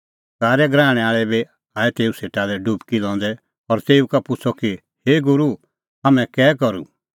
कारै गराहणै आल़ै बी आऐ तेऊ सेटा लै डुबकी लंदै और तेऊ का पुछ़अ कि हे गूरू हाम्हैं कै करूं